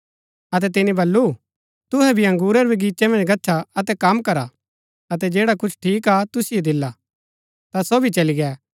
अतै तिनी बल्लू तुहै भी अंगुरा रै बगीचे मन्ज गच्छा अतै कम करा अतै जैडा कुछ ठीक हा तुसिओ दिला ता सो भी चलै गै